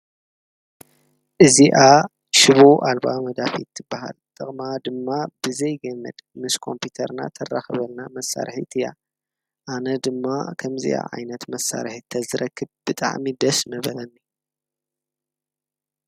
እዚኣ ሽቦ ኣልባ መጋጥም ትባሃል ጥቅማ ድማ ብዘይ ገመድ ምስ ኮምፒዩተርና ተራክበና መሳርሒት እያ፡፡ ኣነ ድማ ከምዚኣ ዓይነት መሳርሒ ተዝረክብ ብጣዕሚ ደስ ምበለኒ ፡፡